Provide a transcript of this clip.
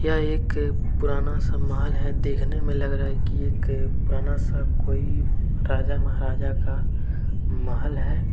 यह एक पुराना सा महल है। देखने में लग रहा है कि एक पुराना सा कोई राजा महाराजा का महल है।